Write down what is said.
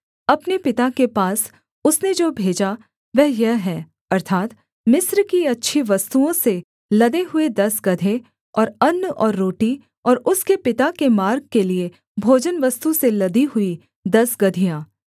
अपने पिता के पास उसने जो भेजा वह यह है अर्थात् मिस्र की अच्छी वस्तुओं से लदे हुए दस गदहे और अन्न और रोटी और उसके पिता के मार्ग के लिये भोजनवस्तु से लदी हुई दस गदहियाँ